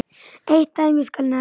Eitt dæmi skal nefnt.